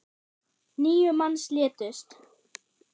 Níu manns létust.